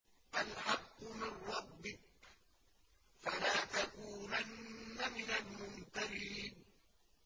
الْحَقُّ مِن رَّبِّكَ ۖ فَلَا تَكُونَنَّ مِنَ الْمُمْتَرِينَ